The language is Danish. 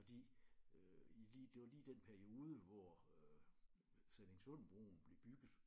Fordi øh i lige det var lige i den periode hvor øh Sallingsundbroen blev bygget